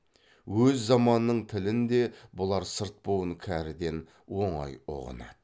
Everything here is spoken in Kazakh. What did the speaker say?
өз заманының тілін де бұлар сырт буын кәріден оңай ұғынады